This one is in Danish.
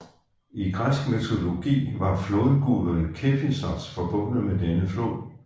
I græsk mytologi var flodguden Kephissos forbundet med denne flod